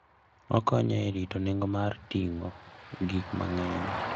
Okonyo e rito nengo mar ting'o gik mang'eny.